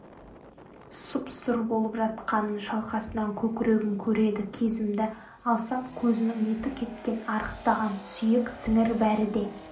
сұп-сұр болып жатқанын шалқасынан көкірегім көреді кезімді алсам көзінің еті кеткен арықтаған сүйек сіңір бәрі де